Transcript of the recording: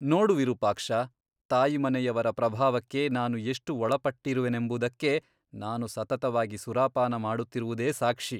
ನೋಡು ವಿರೂಪಾಕ್ಷ ತಾಯಿಮನೆಯವರ ಪ್ರಭಾವಕ್ಕೆ ನಾನು ಎಷ್ಟು ಒಳಪಟ್ಟಿರುವೆನೆಂಬುದಕ್ಕೆ ನಾನು ಸತತವಾಗಿ ಸುರಾಪಾನ ಮಾಡುತ್ತಿರುವುದೇ ಸಾಕ್ಷಿ.